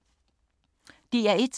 DR1